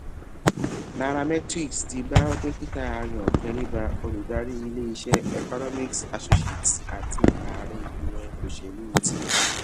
nairametrics [c] ti bá dókítà ayo teriba olùdarí ilé iṣẹ economic associates àti ààrẹ ìgbìmọ òṣèlú ti